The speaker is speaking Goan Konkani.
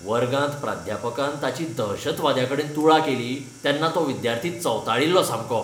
वर्गांत प्राध्यापकान ताची दहशतवाद्याकडेन तुळा केली तेन्ना तो विद्यार्थी चवताळिल्लो सामको.